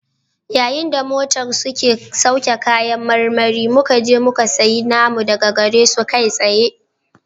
Yayin da motar ke sauke kayan marmari muka je muka sayi namu daga gare su kai tsaye